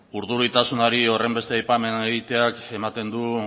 urduritasunari horrenbeste aipamen egiteak ematen du